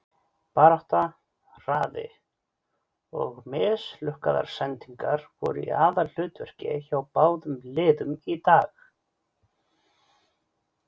Barátta, hraði, og mislukkaðar sendingar voru í aðalhlutverki hjá báðum liðum í dag.